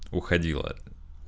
уходила